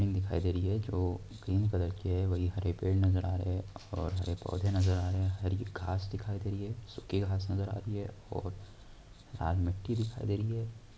दिखाई दे रही है जो ग्रीन कलर की है| वहीं पेड़ नज़र आ रहे हैं और हरे पौधे नज़र आ रहे हैं हरी घांस दिखाई दे रही है सुखी घांस नजर आ रही है और लाल मिट्टी दिखाई दे रही है।